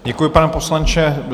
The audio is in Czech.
Děkuji, pane poslanče.